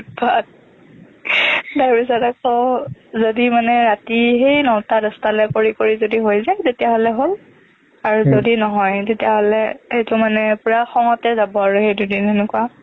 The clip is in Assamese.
তাৰপিছতে আকৌ যদি মানে ৰাতি সেই নটা দহটালৈকে কৰি কৰি যদি হৈ যায় তেতিয়াহ'লে হ'ল আৰু যদি নহয় তেতিয়াহ'লে এইটো মানে পুৰা খঙতে যাব আৰু সেইটো দুদিন সেনেকুৱা